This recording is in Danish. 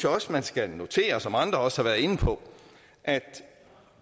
også man skal notere sig som andre også været inde på at